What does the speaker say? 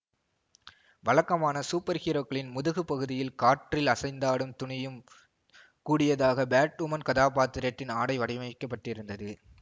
வழக்கமான சூப்பர் ஹீரோக்களின் முதுகு பகுதியில் காற்றில் அசைந்தாடும் துணியும் கூடியதாக பேட்வுமன் கதாப்பாத்திரத்தின் ஆடை வடிவமைக்கப்பட்டிருந்தது